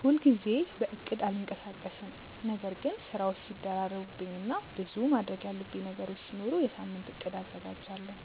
ሁል ጊዜ በእቅድ አልንቀሳቀስም ነገር ግን ስራዎች ሲደራረቡብኝ እና ብዙ ማድረግ ያሉብኝ ነገሮች ሲኖሩ የሳምንት እቅድ አዘጋጃለሁ።